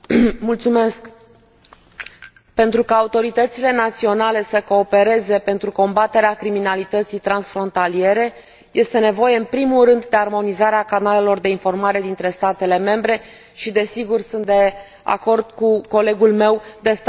Pentru ca autoritățile naționale să coopereze pentru combaterea criminalității transfrontaliere este nevoie, în primul rând, de armonizarea canalelor de informare dintre statele membre și, desigur sunt de acord cu colegul meu de standarde comune în statele membre.